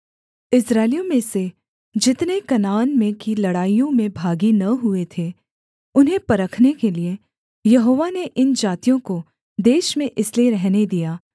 इस्राएलियों में से जितने कनान में की लड़ाइयों में भागी न हुए थे उन्हें परखने के लिये यहोवा ने इन जातियों को देश में इसलिए रहने दिया